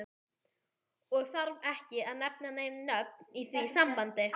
Og þarf ekki að nefna nein nöfn í því sambandi.